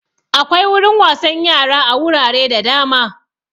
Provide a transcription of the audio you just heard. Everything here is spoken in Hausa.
Akwai wurin wasan yara a wurare da dama